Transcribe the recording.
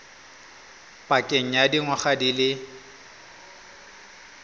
pakeng ya dingwaga di le